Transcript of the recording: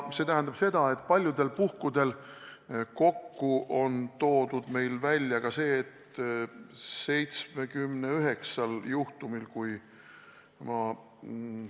See tähendab seda, et paljudel puhkudel on Päästeamet saanud vajalikud andmed alles algatatud kohtuprotsessi käigus.